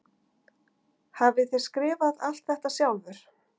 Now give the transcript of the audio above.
Hafið þér skrifað allt þetta sjálfur?